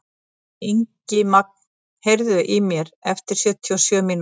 Ingimagn, heyrðu í mér eftir sjötíu og sjö mínútur.